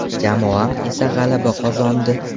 Jamoam esa g‘alaba qozondi”.